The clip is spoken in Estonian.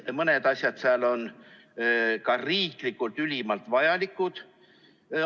Mõned asjad nendest on ka riiklikult ülimalt vajalikud.